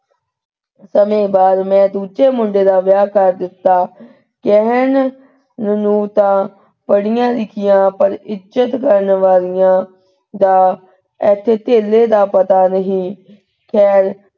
ਸਮੇਂ ਬਾਅਦ ਮੈਂ ਦੂਜੇ ਮੁੰਡੇ ਦਾ ਵਿਆਹ ਕਰ ਦਿੱਤਾ ਕਹਿਣ ਨੂੰ ਤਾਂ ਪੜ੍ਹੀਆਂ ਲਿੱਖੀਆਂ ਪਰ ਇੱਜਤ ਕਰਨ ਵਾਲਿਆਂ ਦਾ ਦਾ ਪਤਾ ਨਹੀ ਖੈਰ,